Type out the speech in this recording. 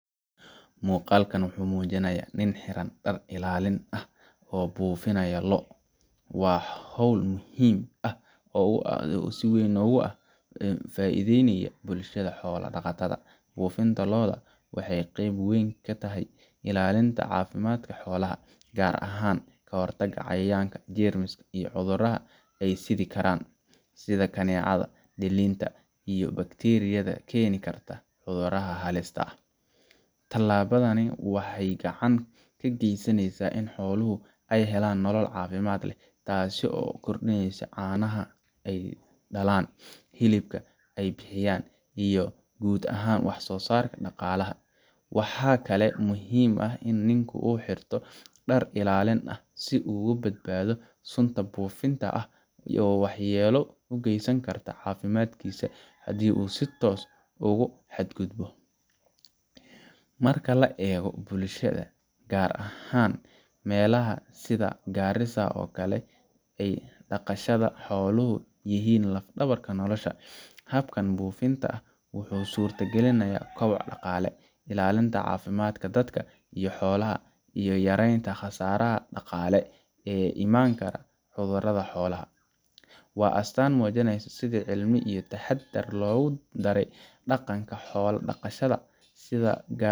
Muqalkan wuxuu muujinaya nin xiran dhar ilaalin ah oo bufinaya lo, waa howl muhiim ah oo adi si weyn ogu ah faa'iideynaya bulshada xoola dhaqatada bufinta loo'da waxay qeb weyn katahay ilalinta caafimaadka xoolaha gaar ahan kahortaga cayayanka, jermiska iyo cudurada ay sidi karaan sida kaneecada, dhaliinta iyo bakteriyada keeni karta cudurada haliska ah, taani waxay gacan kageysaneysa in xooluhu ay helaan nolol caafimad leh taaso ukor dhineysa caanaha ay dhalaan, hilibka ay bixiyaan iyo gud ahaan wax soo sarka dhaqalaha, waxaa kale muhiim ah in ninku uu xirto dhar illalin ah si u uga badbaado sunta bufinta ah iyo wax yelo ay ugeysan karta caafimaadkisa hadii u si toos ogu xad gudbo ,marka la eego bulshada gaar ahan melaha sida Gaarisa oo kale, dhaqashada xooluhu yihiin laf dhabarka nolosha, habkan bufinta ah wuxuu surta gelinaya kobac dhaqaale illalinta caafimaadka dadka iyo xoolaha iyo yareeynta qasaraha dhaqaale ee ka imaankara cudurada xolaha waa astan muujineysa si cilmi iyo taxadar logu daray dhaqanka xolaha dhaqasha sida gaar